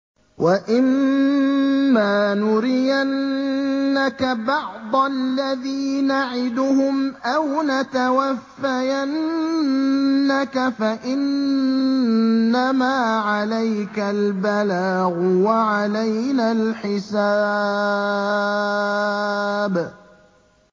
وَإِن مَّا نُرِيَنَّكَ بَعْضَ الَّذِي نَعِدُهُمْ أَوْ نَتَوَفَّيَنَّكَ فَإِنَّمَا عَلَيْكَ الْبَلَاغُ وَعَلَيْنَا الْحِسَابُ